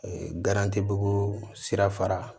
Garantibugu sira fara